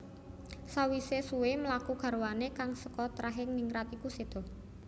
Sawisé suwé mlaku garwané kang seka trahing ningrat iku séda